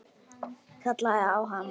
Kallaði á hana.